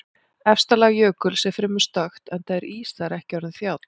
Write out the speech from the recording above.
Efsta lag jökuls er fremur stökkt enda er ís þar ekki orðinn þjáll.